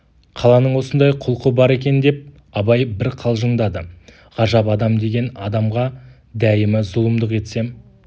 қаланың осындай құлқы бар екен деп абай бір қалжыңдады ғажап адам деген адамға дәйімі зұлымдық етсем